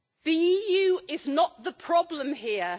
The EU is not the problem here.